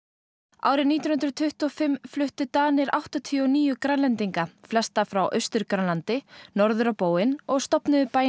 árið nítján hundruð tuttugu og fimm fluttu Danir áttatíu og níu Grænlendinga flesta frá Austur Grænlandi norður á bóginn og stofnuðu bæinn